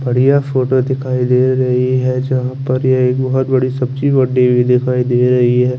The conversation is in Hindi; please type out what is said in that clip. बढ़िया फोटो दिखाई दे रही है जहा पर ये एक बोहोत बड़ी सब्जी मंडी दिखाई दे रही है।